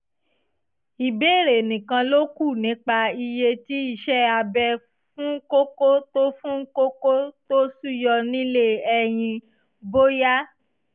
ìbéèrè nìkan ló kù nípa iye tí iṣẹ́ abẹ fún kókó tó fún kókó tó ṣúyọ nílé ẹyin (bóyá)